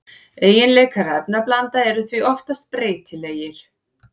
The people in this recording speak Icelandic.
Eiginleikar efnablanda eru því oftast breytilegir.